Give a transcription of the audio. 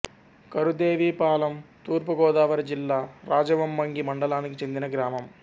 కరుదేవిపాలెం తూర్పు గోదావరి జిల్లా రాజవొమ్మంగి మండలానికి చెందిన గ్రామం